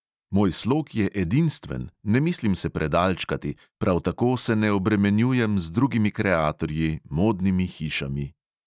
Moj slog je edinstven, ne mislim se predalčkati, prav tako se ne obremenjujem z drugimi kreatorji, modnimi hišami …